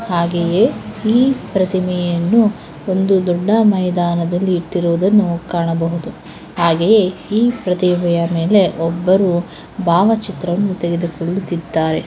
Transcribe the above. ಹಾಗೆಯೇ ಈ ಪ್ರತಿಮೆಯನ್ನು ಒಂದು ದೊಡ್ಡ ಮೈದಾನದಲ್ಲಿ ಇಟ್ಟಿರುವುದನ್ನು ಕಾಣಬಹುದು. ಹಾಗೆಯೇ ಈ ಪ್ರತಿಮೆಯ ಮೇಲೆ ಒಬ್ಬರು ಭಾವಚಿತ್ರವನ್ನು ತೆಗೆದುಕೊಳ್ಳುತ್ತಿದ್ದಾರೆ.